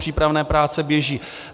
Přípravné práce běží.